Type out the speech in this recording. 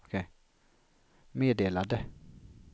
meddelade